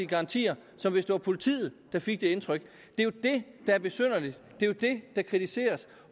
garantier som hvis det var politiet der fik det indtryk det er jo det der er besynderligt det er det der kritiseres